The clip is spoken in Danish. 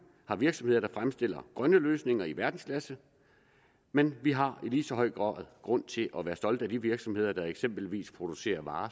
har virksomheder der fremstiller grønne løsninger i verdensklasse men vi har i lige så høj grad grund til at være stolte af de virksomheder der eksempelvis producerer varer